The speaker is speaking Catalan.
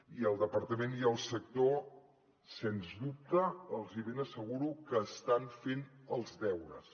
i el departament i el sector sens dubte els ben asseguro que estan fent els deures